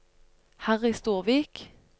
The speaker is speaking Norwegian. Harry Storvik